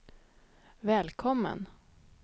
välkommen